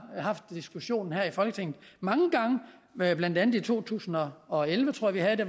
haft diskussionen her i folketinget mange gange blandt andet i to tusind og og elleve tror jeg det